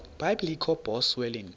biblecor box wellington